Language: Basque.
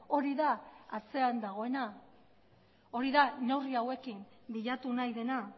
hori da atzean dagoena hori da neurri hauekin bilatu nahi dena